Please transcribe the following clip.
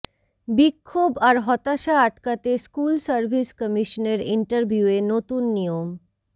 বিক্ষোভ আর হতাশা আটকাতে স্কুল সার্ভিস কমিশনের ইন্টারভিউয়ে নতুন নিয়ম